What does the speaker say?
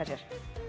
sér